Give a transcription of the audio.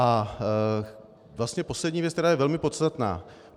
A vlastně poslední věc, která je velmi podstatná.